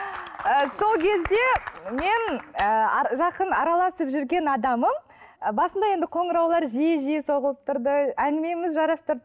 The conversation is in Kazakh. сол кезде мен ы жақын араласып жүрген адамым басында енді қоңыраулар жиі жиі соғылып тұрды әңгімеміз жарасты